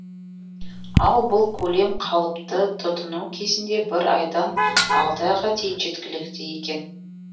ал бұл көлем қалыпты тұтыну кезінде бір айдан алты айға дейін жеткілікті екен